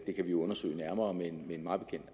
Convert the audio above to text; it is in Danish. det kan vi jo undersøge nærmere men